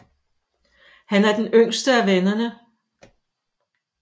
Han er den yngste af vennerne